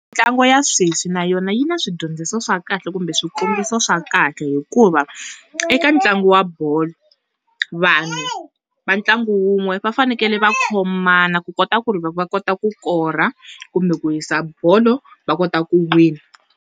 Mintlango ya sweswi na yona yi na swidyondziso swa kahle kumbe swikombiso swa kahle, hikuva eka ntlangu wa bolo vanhu va ntlangu wun'we fanekele va khomana ku kota ku ri loko va kota ku kora kumbe ku howisa bolo va kota ku wina.